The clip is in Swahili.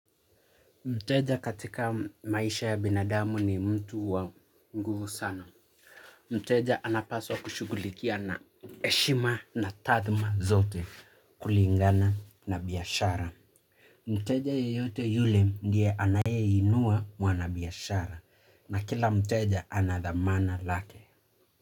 Mteja katika maisha ya binadamu ni mtu wa nguvu sana. Mteja anapaswa kushughulukia na heshima na taadhima zote kulingana na biyashara. Mteja yeyote yule ndiye anayeinua mwanabiashara na kila mteja ana dhamana lake.